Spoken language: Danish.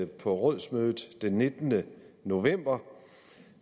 på rådsmødet den nittende november